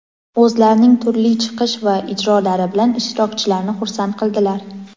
o‘zlarining turli chiqish va ijrolari bilan ishtirokchilarni xursand qildilar.